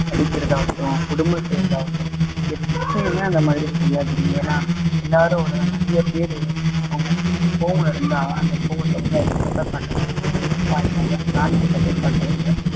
அடிக்கிறதாகட்டும் கொடுமை செய்யிறதாகட்டும் எப்பயுமே அந்த மாதிரி செய்யாதீங்க ஏன்னா எல்லாரும் அவ்ளோதான் நிறைய பேரு அவங்க கோவம் இருந்தா அந்த கோவத்தை வந்து அதுங்ககிட்ட காட்டுவாங்க வாயிலாதா பிராணிகிட்ட போய் காட்டுவாங்க